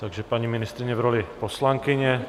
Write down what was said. Takže paní ministryně v roli poslankyně.